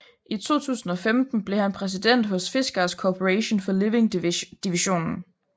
I 2015 blev han præsident hos Fiskars Corporation for Living Divisionen